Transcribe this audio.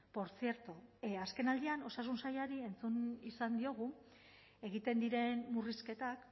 portzierto azkenaldian osasun sailari entzun izan diogu egiten diren murrizketak